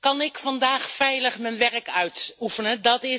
Kan ik vandaag veilig mijn werk uitoefenen?